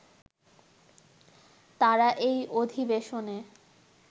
তাঁরা এই অধিবেশনে